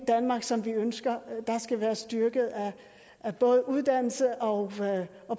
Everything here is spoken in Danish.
danmark som vi ønsker skal være styrket af både uddannelse og